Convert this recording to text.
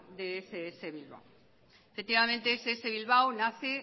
de ess bilbao efectivamente ess bilbao nace